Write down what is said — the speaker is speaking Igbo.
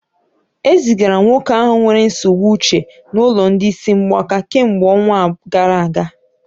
E zigara nwoke ahụ nwere nsogbu uche n'ụlọ ndị isi mgbaka kemgbe ọnwa gara aga